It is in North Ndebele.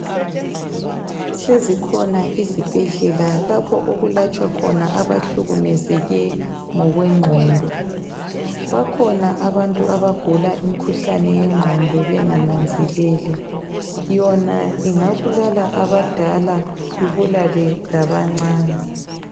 Sezikhona izibhedlela lapho okulatshwa khona abahlukumezeke ngokwengqondo. Bakhona abantu abagula imkhuhlane yengqondo bengananzeleli yona ingabulala abadala ibulale labancani.